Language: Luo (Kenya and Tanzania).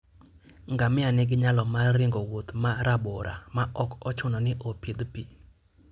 Ngamia nigi nyalo mar ringo wuoth ma rabora ma ok ochuno ni opidh pi.